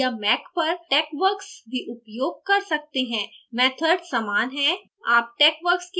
आप विन्डोज़ या mac पर texworks भी उपयोग कर सकते हैं – method समान है